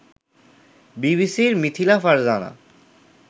বিবিসির মিথিলা ফারজানা